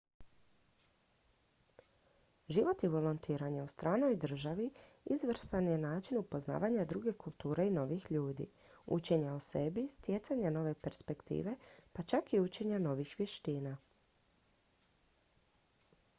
život i volontiranje u stranoj državi izvrstan je način upoznavanja druge kulture i novih ljudi učenja o sebi stjecanja nove perspektive pa čak i učenja novih vještina